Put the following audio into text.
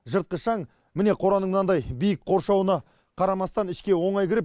жыртқыш аң міне қораның мынандай биік қоршауына қарамастан ішке оңай кіріп